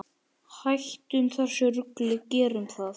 Hættum þessu rugli, gerum það!